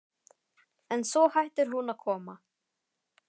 En svo hættir hún að koma.